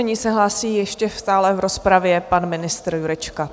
Nyní se hlásí ještě stále v rozpravě pan ministr Jurečka.